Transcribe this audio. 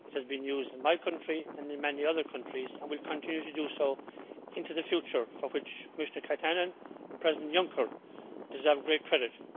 It has been used in my country and in many other countries and will continue to be used into the future, for which Commissioner Katainen and President Juncker deserve great credit.